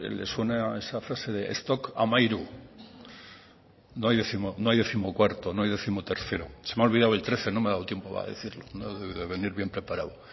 le suena esa frase de stock trece no hay décimocuarto no hay décimotercero se me ha olvidado el trece no me ha dado tiempo a decirlo no he debido de venir bien preparado